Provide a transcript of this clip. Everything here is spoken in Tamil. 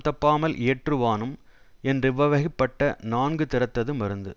தப்பாமல் இயற்றுவானும் என்றிவ்வகைப்பட்ட நான்கு தறத்தது மருந்து